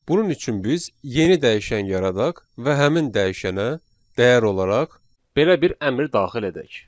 Bunun üçün biz yeni dəyişən yaradaq və həmin dəyişənə dəyər olaraq belə bir əmr daxil edək.